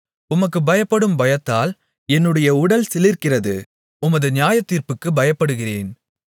உமக்குப் பயப்படும் பயத்தால் என்னுடைய உடல் சிலிர்க்கிறது உமது நியாயத்தீர்ப்புகளுக்குப் பயப்படுகிறேன்